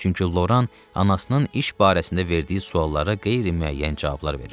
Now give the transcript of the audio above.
Üçüncü, Loran anasının iş barəsində verdiyi suallara qeyri-müəyyən cavablar verirdi.